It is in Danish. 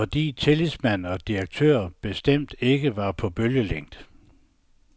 Fordi tillidsmand og direktør bestemt ikke var på bølgelængde.